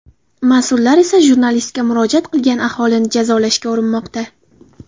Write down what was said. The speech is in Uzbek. Mas’ullar esa jurnalistga murojaat qilgan aholini jazolashga urinmoqda.